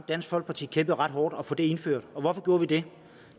dansk folkeparti kæmpede ret hårdt for at få det indført hvorfor gjorde vi det